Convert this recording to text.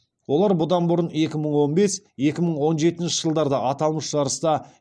олар бұдан бұрын екі мың он бес екі мың он жетінші жылдарда аталмыш жарыста